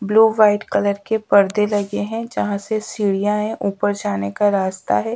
Blue white colour के पर्दे लगे हैं जहाँ से सीढ़ियां हैं ऊपर जाने का रास्ता है।